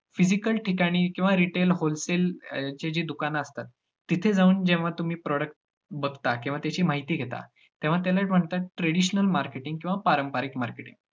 Physical ठिकाणी किंवा retail, wholesale याची जी दुकानं असतात, तिथे जाऊन जेव्हा तुम्ही product बघता किंवा त्याची माहिती घेता, तेव्हा त्याला म्हणतात traditional marketing किंवा पारंपरिक marketing